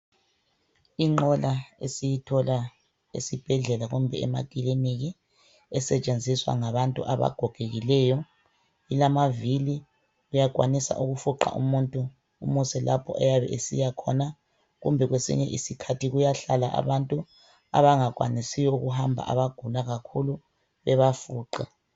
Inqola esiyithola esibhedlela kumbe emakiliniki esetshenziswa ngabantu abagogekileyo, ilamavili uyakwanisa ukufuqa umuntu umuse lapha ayabe esiya khona kumbe kwesinye isikhathi kuyahlala abantu abangakwanisi ukuhamba abagula kakhulu bebafuqe.